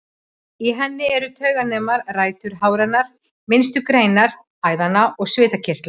Í henni eru tauganemar, rætur háranna, minnstu greinar æðanna og svitakirtlar.